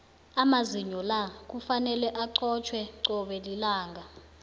amazinyo la kufanele acotjhwe cobe lilanga